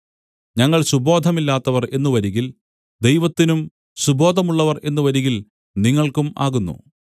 ഞങ്ങൾ സുബോധമില്ലാത്തവർ എന്നു വരികിൽ ദൈവത്തിനും സുബോധമുള്ളവർ എന്നു വരികിൽ നിങ്ങൾക്കും ആകുന്നു